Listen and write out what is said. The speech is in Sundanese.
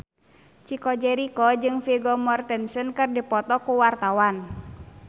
Chico Jericho jeung Vigo Mortensen keur dipoto ku wartawan